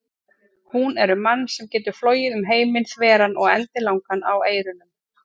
Hún er um mann sem getur flogið um heiminn þveran og endilangan á eyrunum.